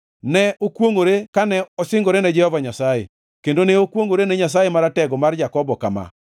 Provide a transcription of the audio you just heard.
Ne okwongʼore kane osingore ne Jehova Nyasaye, kendo ne okwongʼore ne Nyasaye Maratego mar Jakobo kama: